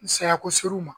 Saya ko ser'u ma